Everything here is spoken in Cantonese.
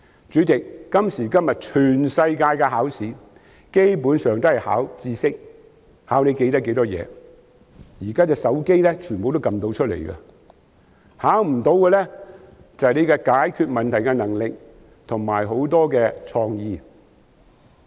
主席，今時今日全世界的考試基本上都是考核知識，考核學生的記憶力，但所有的答案現時都可以從手機按出來，考試中沒有考核的是解決問題的能力及創意。